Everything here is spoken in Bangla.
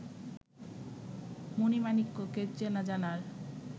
মণি-মাণিক্যকে চেনাজানার